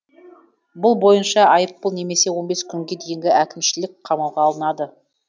бұл бойынша айыппұл немесе он бес күнге дейін әкімшілік қамауға алынады